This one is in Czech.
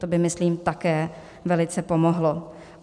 To by, myslím, také velice pomohlo.